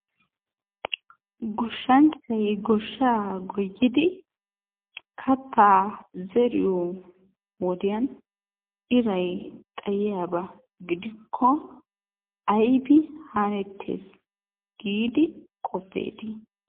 Goshshanchchay goshshaa goyidi kattaa zeriyo wodiyan iray xayiyaba gidikko aybi hanettees giidi qoppeetii?